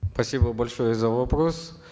спасибо большое за вопрос